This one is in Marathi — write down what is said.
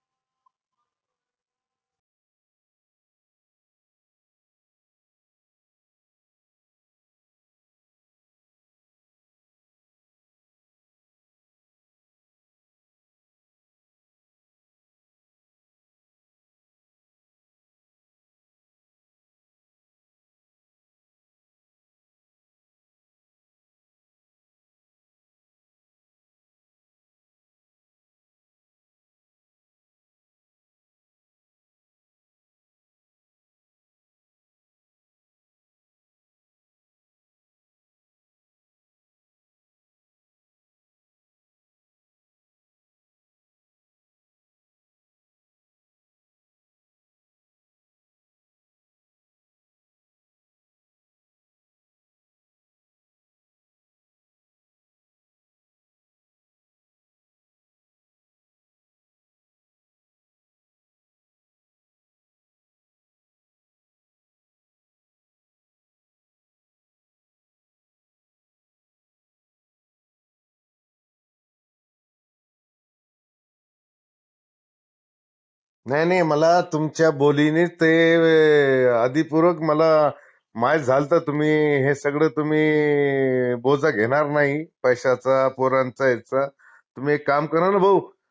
नाई नाई मला तुमच्या बोलीनी ते अगदी पूरक मला माइत झाल्त तुम्ही हे सगड तुम्ही बोझा घेनार नाई पैश्यांचा, पोरांचा याचा तुम्ही एक काम करा न भाऊ